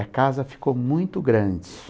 A casa ficou muito grande.